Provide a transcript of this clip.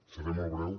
seré molt breu